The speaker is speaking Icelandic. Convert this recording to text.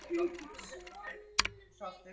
Hvernig bregst ég við?